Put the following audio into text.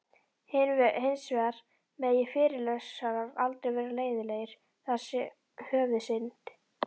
Hins vegar megi fyrirlesarar aldrei vera leiðinlegir, það sé höfuðsynd.